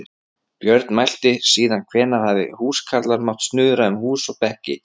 Björn mælti: Síðan hvenær hafa húskarlar mátt snuðra um hús og bekki.